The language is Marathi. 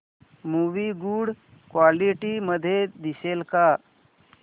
मूवी गुड क्वालिटी मध्ये दिसेल का